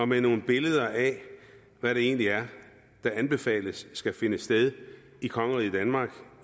med nogle billeder af hvad det egentlig er der anbefales skal finde sted i kongeriget danmark